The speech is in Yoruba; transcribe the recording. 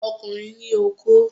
Ọkùnrin ní okó